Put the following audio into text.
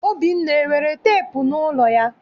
Obinna, enwere teepu n'ụlọ ya?